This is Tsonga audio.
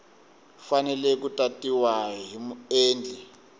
fanele ku tatiwa hi muendli